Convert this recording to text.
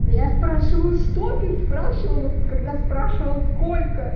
я спрашиваю что ты спрашивала когда спрашивал сколько